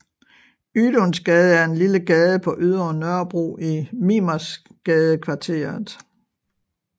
Ydunsgade er en lille gade på Ydre Nørrebro i Mimersgadekvarteret